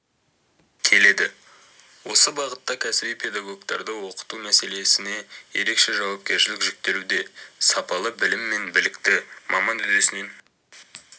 келеді осы бағытта кәсіби педагогтарды оқыту мәселесіне ерекше жауапкершілік жүктелуде сапалы білім білікті маман үдесінен